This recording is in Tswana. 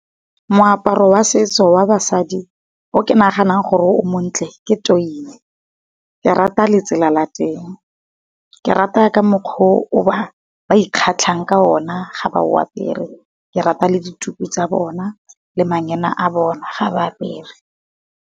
Moaparo wa setso wa basadi o ke naganang gore o montle ke toise. Ke rata letsela la teng, ke rata ka mokgwa o ba ikgatlhang ka ona ga ba o apere, ke rata le dituku tsa bona le manyena a bone ga ba apere.